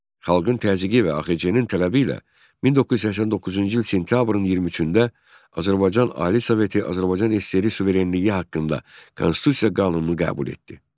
Xalqın təzyiqi və AXC-nin tələbi ilə 1989-cu il sentyabrın 23-də Azərbaycan Ali Soveti Azərbaycan SSR suverenliyi haqqında konstitusiya qanunu qəbul etdi.